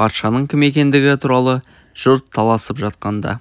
патшаның кім екендігі туралы жұрт таласып жатқанда